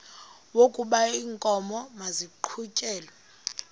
wokaba iinkomo maziqhutyelwe